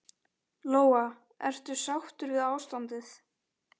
Lóa: Ertu sáttur við ástandið?